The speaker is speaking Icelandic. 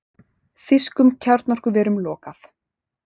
Þýskum kjarnorkuverum lokað